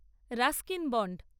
Ruskin bond